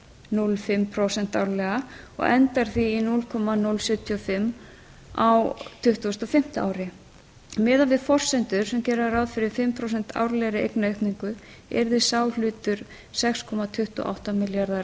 núll komma núll núll fimm prósent árlega og endar því í núll komma núll sjötíu og fimm á tuttugustu og fimmta ári miðað við forsendur sem gera ráð fyrir fimm prósent árlegri eignaaukningu yrði sá hlutur sex komma tuttugu og átta milljarðar